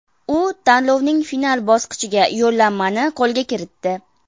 U tanlovning final bosqichiga yo‘llanmani qo‘lga kiritdi.